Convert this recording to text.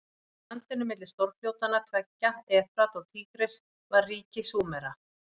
Í landinu milli stórfljótanna tveggja, Efrat og Tígris, var ríki Súmera.